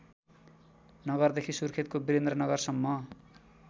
नगरदेखि सुर्खेतको वीरेन्द्रनगरसम्म